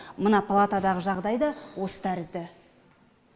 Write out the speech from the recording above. мына палатадағы жағдай да осы тәрізді